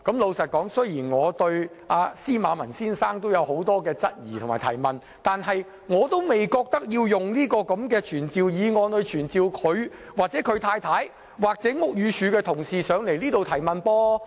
老實說，雖然我對司馬文先生的情況有很多疑問，但我並不認為須藉傳召議案傳召他、他太太或屋宇署同事前來接受提問。